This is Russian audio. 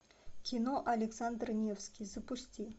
кино александр невский запусти